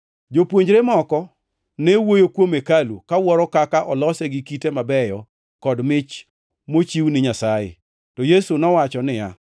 Jopuonjrene moko ne wuoyo kuom hekalu kawuoro kaka olose gi kite mabeyo kod mich mochiw ni Nyasaye. To Yesu nowacho niya,